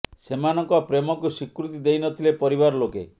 ସେମାନଙ୍କ ପ୍ରେମକୁ ସ୍ୱୀକୃତି ଦେଇ ନ ଥିଲେ ପରିବାର ଲୋକେ